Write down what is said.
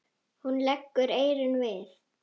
Hún leggur eyrun við.